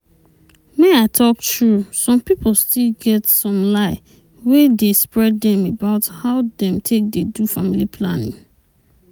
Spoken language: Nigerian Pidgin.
make i talk true some pipo still get some lie wey dey spread dem about how dem take dey do family planning.